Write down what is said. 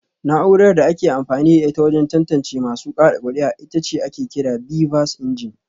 Na’urar da ake amfani da ita wajen tantance masu kada kuri’a ita ake kira BVAS ingeni